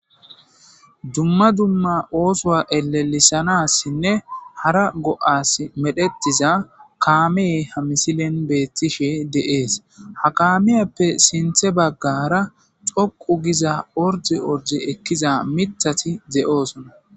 Dumma dumma osuwa elelisanasinne hara go's medhetida kamey de'ees ha kamiyappe sintha bagara ordi ordi ekizza mithati de'ssona